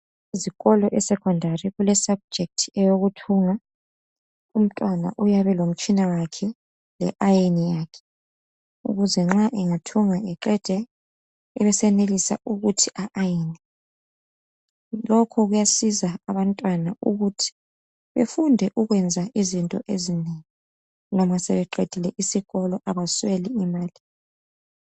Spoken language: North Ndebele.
Ezikolo e secondary kule subject eyokuthunga, umntwana uyabe elomtshina wakhe le ayini yakhe ukuze nxa engathunga eqede ebesenelisa ukuthi e ayine. Lokho kuyasiza abantwana ukuthi befunde ukwenza izinto ezinengi noma sebeqedile isikolo abasweli imali